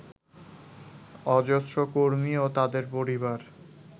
অজস্র কর্মী ও তাঁদের পরিবার